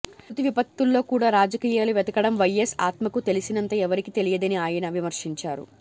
ప్రకృతి విపత్తుల్లో కూడా రాజకీయాలు వెతకడం వైఎస్ ఆత్మకు తెలిసినంత ఎవరికీ తెలియదని ఆయన విమర్శించారు